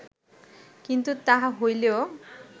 কিন্তু তাহা হইলেও